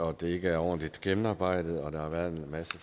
at det ikke er ordentligt gennemarbejdet og der har været